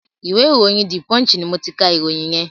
ìwé ìròyìn "The Punch" ni mo ti ka ìròyìn yẹn.